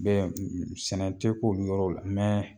Bɛɛ sɛnɛ te k'olu yɔrɔw la